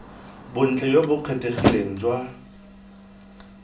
bontle jo bo kgethegileng jwa